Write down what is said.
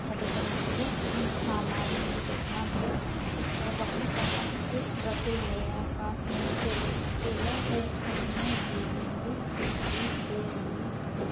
हमम सामान की दुकान है जिस पर बाल्टा-बाल्टी रखे हुए हैं पास में एक केले का ठेला है। सामने बिल्डिंग भी दिखाई दे रही है।